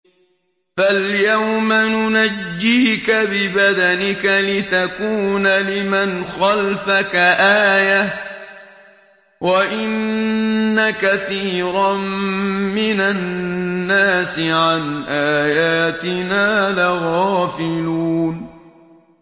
فَالْيَوْمَ نُنَجِّيكَ بِبَدَنِكَ لِتَكُونَ لِمَنْ خَلْفَكَ آيَةً ۚ وَإِنَّ كَثِيرًا مِّنَ النَّاسِ عَنْ آيَاتِنَا لَغَافِلُونَ